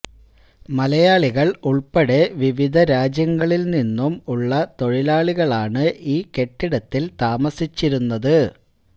മലയാളികള് ഉള്പ്പെടെ വിവിധ രാജ്യങ്ങളില് നിന്നും ഉള്ള തൊഴിലാളികളാണ് ഈ കെട്ടിടത്തില് താമസിച്ചിരുന്നത്